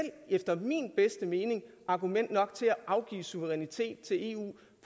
efter min bedste mening argument nok til at afgive suverænitet til eu